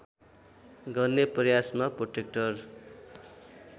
गर्ने प्रयासमा प्रोटेक्टर